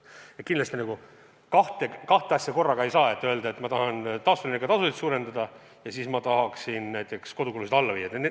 Kindlasti kahte asja korraga ei saa: öelda, et ma tahan taastuvenergia osakaalu suurendada ja tahan ka näiteks kodukulusid alla viia.